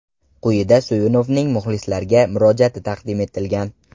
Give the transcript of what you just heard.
Quyida Suyunovning muxlislarga murojaati taqdim etilgan.